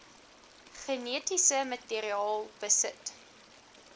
genetiese materiaal besit